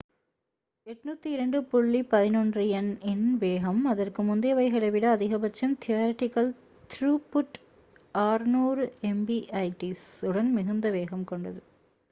802.11n இன் வேகம் அதற்கு முந்தையவைகளை விட அதிகபட்சம் தியரடிகல் த்ரூபுட் 600mbit/s உடன் மிகுந்த வேகம் கொண்டது